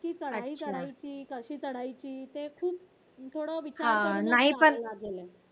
ती चढाई चढायची कशी चढायची ते खूप थोडा विचार करावा लागेल